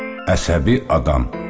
Əsəbi adam.